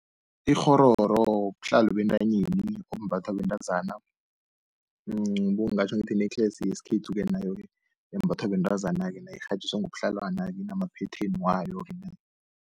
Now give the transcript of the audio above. Ikghororo buhlalo bentanyeni obumbathwa bentazana, ngingatjho ngithi yi-necklace yesikhethu-ke nayo-ke embathwa bentazana-ke nayo irhatjhiswe ngobuhlalwana-ke inamaphetheni wayo.